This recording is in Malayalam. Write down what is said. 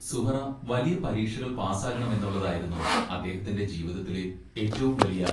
സുഹ്റാ വലിയ പരീക്ഷകൾ പാസ്സാകണമെന്നുള്ളതായിരുന്നു അദ്ദേഹത്തിന്റെ ജീവിതത്തിലെ ഏറ്റവും വലിയ